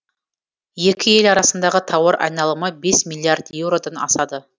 екі ел арасындағы тауар айналымы бес миллиард еуродан асады